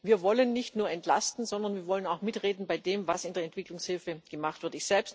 Wir wollen nicht nur entlasten, sondern wir wollen auch mitreden bei dem, was in der Entwicklungshilfe gemacht wird.